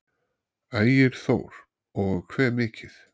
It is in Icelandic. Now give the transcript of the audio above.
Ægir Þór: Og hve mikið?